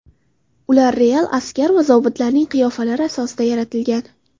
Ular real askar va zobitlarning qiyofalari asosida yaratilgan.